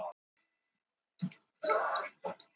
Kettir geta ekki talað í alvörunni